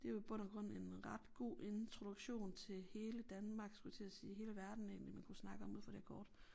Det jo i bund og grund en ret god introduktion til hele Danmark skulle jeg til at sige hele verden egentlig man kunne snakke om ud fra det her kort